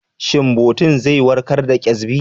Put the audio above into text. Shin biotin zai warkar da ƙyazbi?